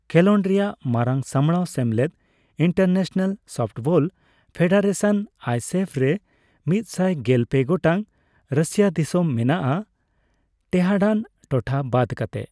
ᱠᱷᱮᱞᱚᱸᱰ ᱨᱮᱭᱟᱜ ᱢᱟᱨᱟᱝ ᱥᱟᱢᱲᱟᱣ ᱥᱮᱢᱞᱮᱫ, ᱤᱱᱴᱟᱨᱱᱮᱥᱱᱟᱞ ᱥᱚᱯᱷᱴᱵᱚᱞ ᱯᱷᱮᱰᱟᱨᱮᱥᱚᱱ ᱟᱭᱮᱥᱮᱯᱷ ᱼ ᱨᱮ ᱢᱤᱛᱥᱟᱭ ᱜᱮᱞ ᱯᱮ ᱜᱚᱴᱟᱝ ᱨᱟᱹᱥᱤᱭᱟᱹ ᱫᱤᱥᱚᱢ ᱢᱮᱱᱟᱜᱼᱟ ᱴᱮᱦᱟᱸᱰᱟᱱ ᱴᱚᱴᱷᱟ ᱵᱟᱫ ᱠᱟᱛᱮᱫ ᱾